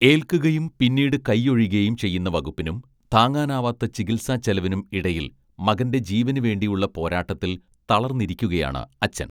ഏൽക്കുകയും പിന്നീട് കൈയൊഴിയുകയും ചെയ്യുന്ന വകുപ്പിനും താങ്ങാനാവാത്ത ചികിത്സാച്ചെലവിനും ഇടയിൽ മകന്റെ ജീവന് വേണ്ടിയുള്ള പോരാട്ടത്തിൽ തളർന്നിരിക്കുകയാണ് അച്ഛൻ